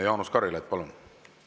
Jaanus Karilaid, palun!